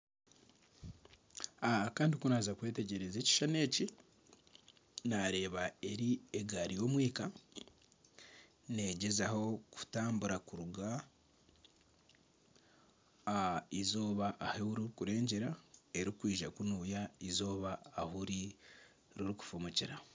Aaah Kandi kunaaza kwetegyereza ekishushani eki, nareeba eri egari y'omwika negyezaho kutambura kuruga ah'izooba riri kurengyera erikwija kunuya izooba ahi riri kufumukira.